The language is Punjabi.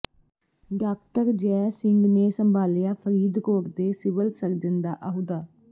ਡਾਕਟਰ ਜੈ ਸਿੰਘ ਨੇ ਸੰਭਾਲਿਆ ਫ਼ਰੀਦਕੋਟ ਦੇ ਸਿਵਲ ਸਰਜਨ ਦਾ ਅਹੁਦਾ